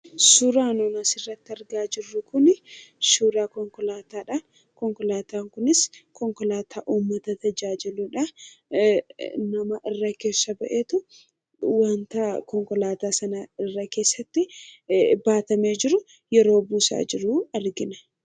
Suuraan nuti asirratti argaa jirru kun suuraa konkolaataadha. Konkolaataan kunis konkolaataa uummata tajaajiluudha. Nama irra keessa baheetu wanta konkolaataa sana irra keessatti baatamee jiru yeroo buusaa jiru argiana.